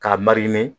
K'a marini